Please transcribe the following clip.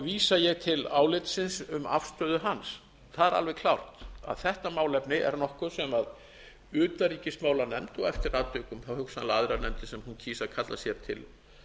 vísi ég til álitsins um afstöðu hans það er alveg klárt að þetta málefni er nokkuð sem utanríkismálanefnd og eftir atvikum á hugsanlega aðrar nefndir sem hún kýs að kalla sér til